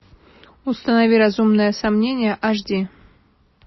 установи разумное сомнение аш ди